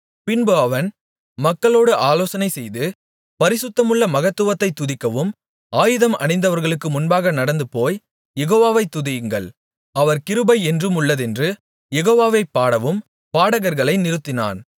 பின்பு அவன் மக்களோடு ஆலோசனைசெய்து பரிசுத்தமுள்ள மகத்துவத்தைத் துதிக்கவும் ஆயுதம் அணிந்தவர்களுக்கு முன்பாக நடந்துபோய் யெகோவாவை துதியுங்கள் அவர் கிருபை என்றும் உள்ளதென்று யெகோவாவைப் பாடவும் பாடகர்களை நிறுத்தினான்